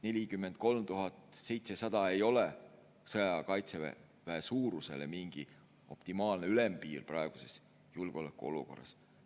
43 700 ei ole sõjaaja Kaitseväe suuruse mingi optimaalne ülempiir praeguses julgeolekuolukorras.